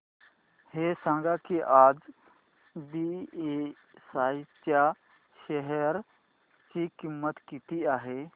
हे सांगा की आज बीएसई च्या शेअर ची किंमत किती आहे